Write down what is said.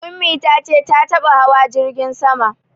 Ummi ta ce ta taɓa hawa jirgin sama